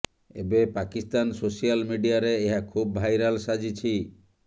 ଏବେ ପାକିସ୍ତାନ ସୋସିଆଲ ମିଡିଆରେ ଏହା ଖୁବ୍ ଭାଇରାଲ ସାଜିଛି